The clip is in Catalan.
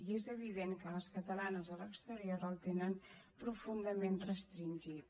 i és evident que les catalanes a l’exterior el tenen profundament restringit